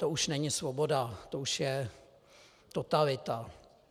To už není svoboda, to už je totalita.